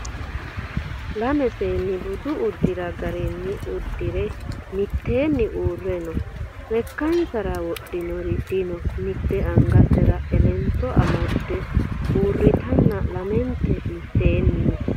lame seenni budu uddira garinni uddire mitteeni uurre no lekkansara wodhinori dino mitte angasera elento amadde uurritenna lamenti mitteeni no